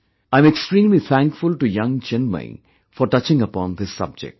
I am extremely thankful to young Chinmayee for touching upon this subject